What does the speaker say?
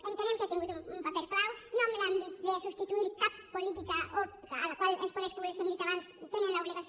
entenem que ha tingut un paper clau no en l’àmbit de substituir cap política a la qual els poders públics ho hem dit abans tenen l’obligació